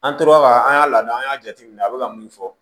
An tora ka an y'a lada an y'a jateminɛ a bɛ ka min fɔ